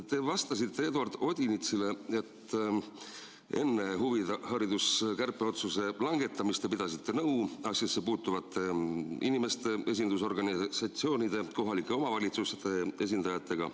Te vastasite Eduard Odinetsile, et enne huvihariduse kärpeotsuse langetamist te pidasite nõu asjasse puutuvate inimeste, esindusorganisatsioonide ja kohalike omavalitsuste esindajatega.